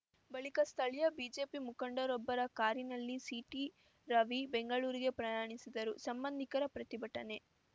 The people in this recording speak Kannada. ಬಳಿಕ ಸ್ಥಳೀಯ ಬಿಜೆಪಿ ಮುಖಂಡರೊಬ್ಬರ ಕಾರಿನಲ್ಲಿ ಸಿಟಿರವಿ ಬೆಂಗಳೂರಿಗೆ ಪ್ರಯಾಣಿಸಿದರು ಸಂಬಂಧಿಕರ ಪ್ರತಿಭಟನೆ